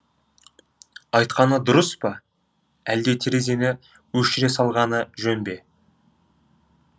айтқаны дұрыс па әлде терезені өшіре салғаны жөн бе